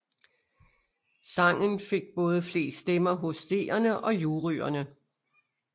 Sangen fik både flest stemmer hos seerne og juryerne